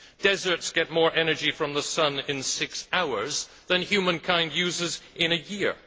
Deserts get more energy from the sun in six hours than humankind uses in a year.